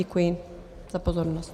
Děkuji za pozornost.